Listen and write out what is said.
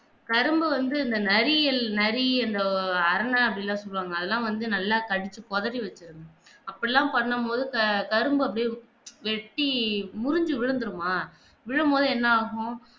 கரும்ப வந்து அந்த நரியல் நரினு அரண அப்பிடின்னு சொல்லுவாங்க அதெல்லாம் வந்து நல்லா கடிச்சி கோதரி வெச்சிடும் அப்பிடியெல்லாம் பண்ணும்போது கரும்பு அப்படியே வெட்டி முறிஞ்சி விழுந்திடுமா விழும்போது என்ன ஆகும்